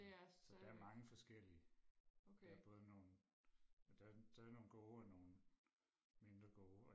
så der er mange forskellige der er både nogle der der er nogle gode og nogle mindre gode